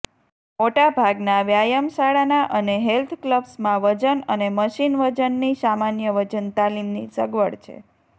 મોટા ભાગના વ્યાયામશાળાના અને હેલ્થ ક્લબ્સમાં વજન અને મશીન વજનની સામાન્ય વજન તાલીમની સગવડ છે